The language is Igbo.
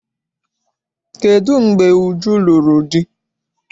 Kedụ mgbe Uju lụrụ di?